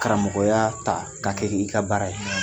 Karamɔgɔya ta k'a kɛ i ka baara ye.